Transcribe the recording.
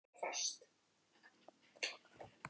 Hann fann reiðina flæða um sig.